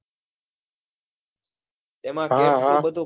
હા હા